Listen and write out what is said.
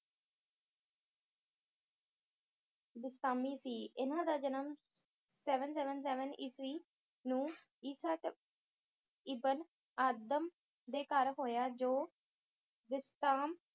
ਬਿਸਤਾਮੀ ਸੀ ਇਨ੍ਹਾਂ ਦਾ ਜਨਮ seven seven seven ਈਸਵੀ ਨੂੰ ਈਸਾ ਇਬਨ ਆਦਮ ਦੇ ਘਰ ਹੋਇਆ ਜੋ ਬਿਸਤਾਮ